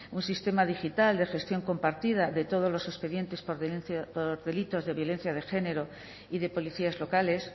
un sistema digital de gestión compartida de todos los expedientes por delitos de violencia de género y de policías locales